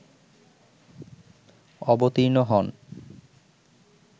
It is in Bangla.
অবতীর্ণ হন